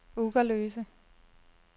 Ugerløse